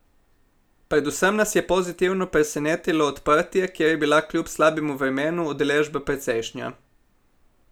Predvsem nas je pozitivno presenetilo odprtje, kjer je bila kljub slabemu vremenu udeležba precejšnja.